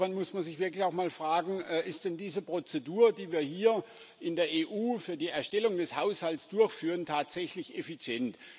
Insofern muss man sich wirklich auch mal fragen Ist denn diese Prozedur, die wir hier in der EU für die Erstellung des Haushalts durchführen, tatsächlich effizient?